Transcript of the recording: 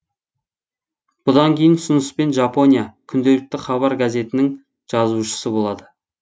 бұдан кейін ұсыныспен жапония күнделікті хабар газетінің жазушысы болады